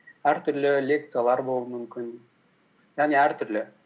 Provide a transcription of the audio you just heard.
әртүрлі лекциялар болуы мүмкін яғни әртүрлі